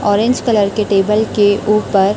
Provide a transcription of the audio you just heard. orange colour के table के ऊपर--